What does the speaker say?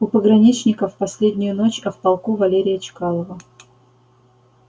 у пограничников последнюю ночь а в полку валерия чкалова